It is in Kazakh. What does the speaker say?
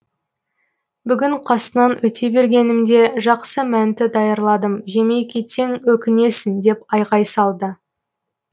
бүгін қасынан өте бергенімде жақсы мәнті даярладым жемей кетсең өкінесің деп айғай салды